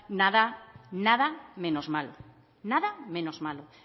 nada menos malo nada menos malo